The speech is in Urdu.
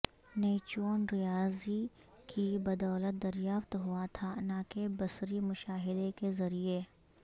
نیپچون ریاضی کی بدولت دریافت ہوا تھا نہ کہ بصری مشاہدے کے ذریعے